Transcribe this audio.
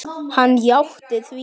Hann játti því.